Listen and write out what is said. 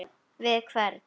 Við hvern?